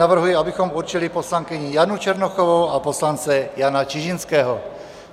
Navrhuji, abychom určili poslankyni Janu Černochovou a poslance Jana Čižinského.